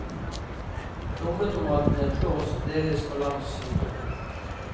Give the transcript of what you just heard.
Plommetomatene flås, deles på langs i to.